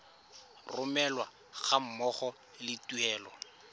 romelwa ga mmogo le tuelo